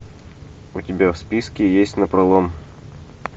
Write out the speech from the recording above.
у тебя в списке есть напролом